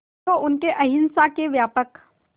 जो उनके अहिंसा के व्यापक